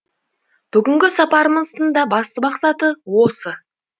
бүгінгі сапарымыздың да басты мақсаты осы